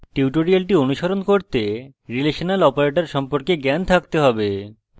tutorial অনুসরণ করতে জাভাতে রিলেশনাল operators সম্পর্কে জ্ঞান থাকতে have